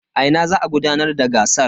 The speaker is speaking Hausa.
A ina za a gudanar da gasar?